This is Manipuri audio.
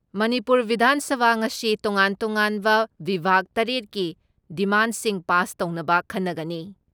ꯃꯅꯤꯄꯨꯔ ꯕꯤꯙꯥꯟ ꯁꯚꯥ ꯉꯁꯤ ꯇꯣꯉꯥꯟ ꯇꯣꯉꯥꯟꯕ ꯕꯤꯚꯥꯒ ꯇꯔꯦꯠ ꯀꯤ ꯗꯤꯃꯥꯟꯁꯤꯡ ꯄꯥꯁ ꯇꯧꯅꯕ ꯈꯟꯅꯒꯅꯤ ꯫